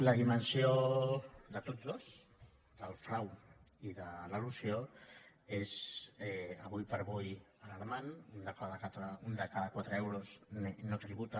la dimensió de tots dos del frau i de l’elusió és ara com ara alarmant un de cada quatre euros no tributa